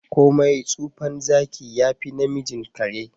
komai tsufan Zaki yafi namijin kare.